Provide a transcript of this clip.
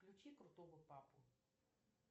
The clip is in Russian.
включи крутого папу